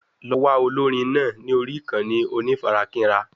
Lọ wá olórin náà ní orí ìkànnì onífarakínra